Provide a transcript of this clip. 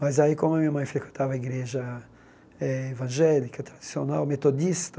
Mas, como a minha mãe frequentava a igreja eh evangélica, tradicional, metodista,